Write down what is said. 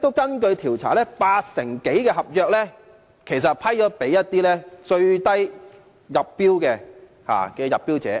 根據調查顯示，其實八成多的合約是批給出標價最低的入標者。